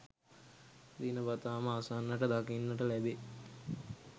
දිනපතා ම අසන්නට දකින්නට ලැබේ.